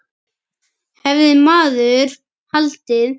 Hefði maður haldið.